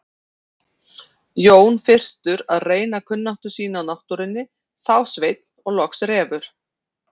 Jón fyrstur að reyna kunnáttu sína á náttúrunni, þá Sveinn og loks Refur.